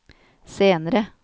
senere